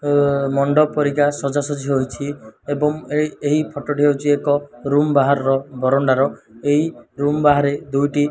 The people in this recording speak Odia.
ଏ ମଣ୍ଡପ ପରିକା ସଜାସଜ୍ଜି ହୋଇଛି ଏବଂ ଏହି ଫଟୋ ଟି ହେଉଛି ଏକ ରୁମ୍ ବାହାରର ବରଣ୍ଡାର। ଏହି ରୁମ୍ ବାହାରେ ଦୁଇଟି --